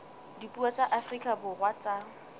dipuo tsa afrika borwa tsa